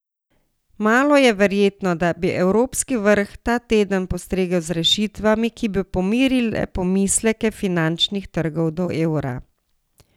Malo je verjetno, da bi evropski vrh ta teden postregel z rešitvami, ki bi pomirile pomisleke finančnih trgov do evra.